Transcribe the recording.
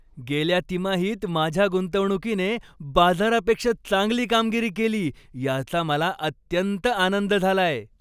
गेल्या तिमाहीत माझ्या गुंतवणुकीने बाजारापेक्षा चांगली कामगिरी केली याचा मला अत्यंत आनंद झालाय.